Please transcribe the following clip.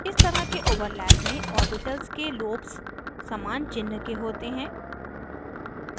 इस तरह के overlap में ओर्बिटल्स के lobes lobes समान चिन्ह के होते हैं